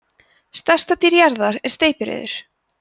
stærsta dýr jarðar er steypireyður